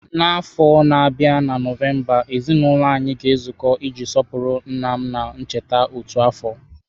N'afọ na-abịa na Nọvemba, ezinụlọ anyị ga-ezukọ iji sọpụrụ nna m ncheta otu afọ.